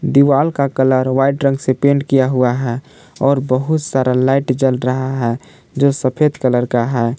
दीवाल का colour white रंग से पेंट किया हुआ है और बहुत सारा लाइट जल रहा है जो सफेद कलर का है।